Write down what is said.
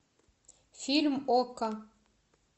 фильм окко